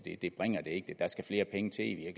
der skal flere penge til i